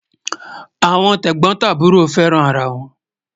Awọn tẹgbọtaburọ fẹ́ràn ara wọn